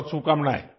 बहुत शुभकामनाएँ